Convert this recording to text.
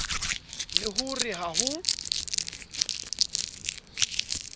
le ho re ha ho